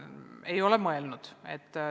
– ma ei ole mõelnud.